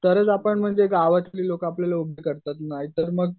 तरच आपण म्हणजे गावातली लोक आपल्याला करतात नाही तर मग